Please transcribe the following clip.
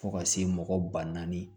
Fo ka se mɔgɔ ba naani